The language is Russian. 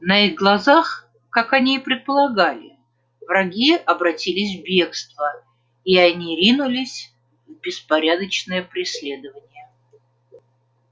на их глазах как они и предполагали враги обратились в бегство и они ринулись в беспорядочное преследование